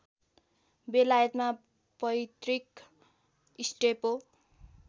बेलायतमा पैट्रिक स्टेपो